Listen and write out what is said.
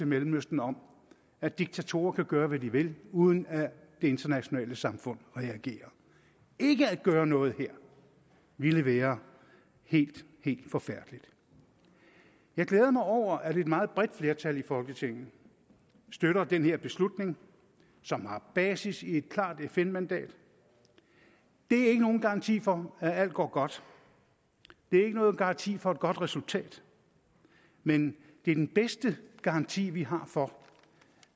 mellemøsten om at diktatorer kan gøre hvad de vil uden at det internationale samfund reagerer ikke at gøre noget her ville være helt helt forfærdeligt jeg glæder mig over at et meget bredt flertal i folketinget støtter den her beslutning som har basis i et klart fn mandat det er ikke nogen garanti for at alt går godt det er ikke nogen garanti for et godt resultat men det er den bedste garanti vi har for